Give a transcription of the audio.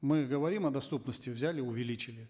мы говорим о доступности взяли увеличили